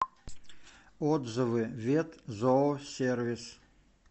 отзывы ветзоосервис